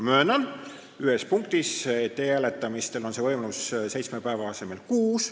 Ma möönan ühte punkti, et e-hääletamisel osaleda on võimalik nüüd seitsme päeva asemel kuuel.